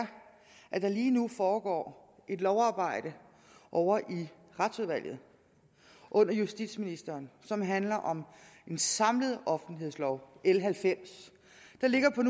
at der lige nu foregår et lovarbejde ovre i retsudvalget under justitsministeren som handler om en samlet offentlighedslov l halvfems der ligger på